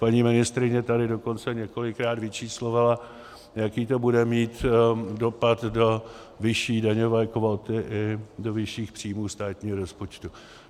Paní ministryně tady dokonce několikrát vyčíslovala, jaký to bude mít dopad do vyšší daňové kvóty i do vyšších příjmů státního rozpočtu.